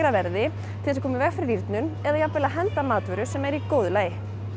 verði til að koma í veg fyrir rýrnun eða að að henda matvöru sem er í góðu lagi